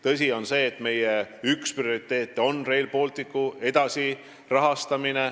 Tõsi on see, et meie üks prioriteete on Rail Balticu edasi rahastamine.